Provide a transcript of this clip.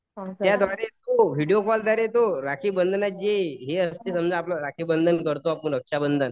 त्याद्वारे तो व्हिडीओ कॉलद्वारे तो राखी बंधनात जी ही असते समजा आपण राखीबंधन करतो आपण रक्षाबंधन.